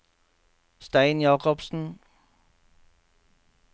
Stein Jacobsen